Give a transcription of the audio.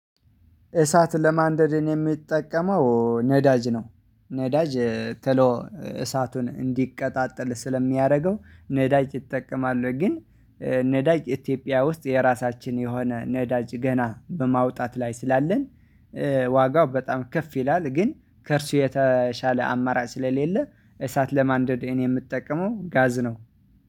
እሳት ለማንደድ እኔ የምጠቀመው ነዳጅ ነው፤ ነዳጅ ተሎ እሳቱን እንዲቀጣጠል ስለሚያደርገው፣ ነዳጅ ይጠቀማለሁ ግን ነዳጅ ኢትዮጵያ ውስጥ የራሳችን የሆነ ነዳጅ ገና በማውጣት ላይ ስላለን፣ ዋጋው በጣም ከፍ ይላል፤ ግን ከእርሱ የተሻለ አማራጭ ስለሌለ፣ እሳት ለማንደድ እኔ የምጠቀመው ጋዝ ነው።